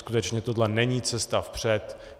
Skutečně tohle není cesta vpřed.